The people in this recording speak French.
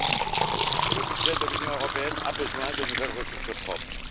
Oui, le budget de l'Union européenne a besoin de nouvelles ressources propres.